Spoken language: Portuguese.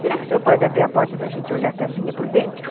Será que o senhor pode abrir a porta para a gente olhar a casinha por dentro?